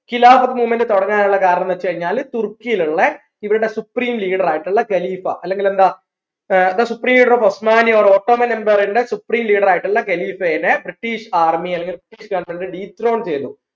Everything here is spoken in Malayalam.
of movement തുടങ്ങാനുള്ള കാരണംന്ന് വെച് കഴിഞ്ഞാ തുർക്കിൽ ഉള്ള ഇവര്ടെ supreme leader ആയിട്ടുള്ള ഖലിഫ അല്ലെങ്കിൽ എന്താ ഏർ the supreme leader of osmani or ottoman empire ന്റെ supreme leader ആയിട്ടുള്ള ഖലീഫയുടെ british army അല്ലെങ്കിൽ dethrone ചെയ്തു